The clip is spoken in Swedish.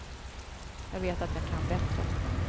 Jag vet att jag kan bättre.